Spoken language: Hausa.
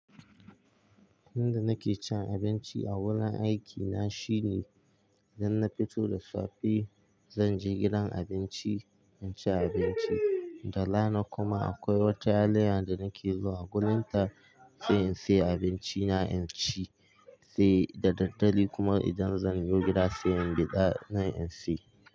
Inda nake cin abinci a wurin aikina shine idan na fito da safe zan je gidan abinci in ci abinci, da rana kuma akwai wata yaliya da nake zuwa guninta sai in siya abinci na in ci eh, da daddare kuma idan zanyo gida sai bida nan inci.